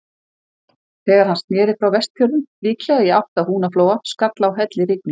Þegar hann sneri frá Vestfjörðum, líklega í átt að Húnaflóa, skall á hellirigning.